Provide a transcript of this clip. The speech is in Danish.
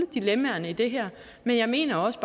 dilemmaerne i det her men jeg mener også